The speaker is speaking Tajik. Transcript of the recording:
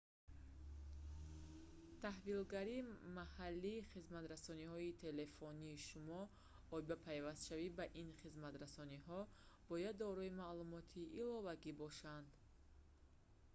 таҳвилгари маҳаллии хизматрасониҳои телефонии шумо оид ба пайвастшавӣ ба ин хизматрасониҳо бояд дорои маълумоти иловагӣ бошанд